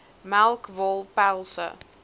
melk wol pelse